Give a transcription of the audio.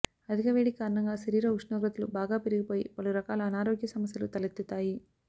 అధిక వేడి కారణంగా శరీర ఉష్ణోగ్రతలు బాగా పెరిగిపోయి పలు రకాల అనారోగ్య సమస్యలు తలెత్తుతాయి